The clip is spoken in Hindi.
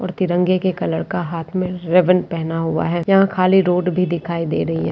और तिरंगे के कलर का हाथ में रिबन पहना हुआ है यहाँ खाली रोड भी दिखाई दे रही है।